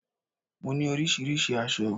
Mo ní oríṣiríṣi aṣọ